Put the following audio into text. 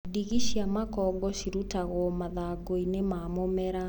Ndigi cia makongo cirutagwo mathangũinĩ ma mũmera.